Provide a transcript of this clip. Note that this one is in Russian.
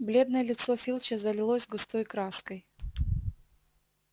бледное лицо филча залилось густой краской